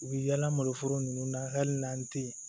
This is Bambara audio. U bɛ yaala malo foro ninnu na hali n'an tɛ yen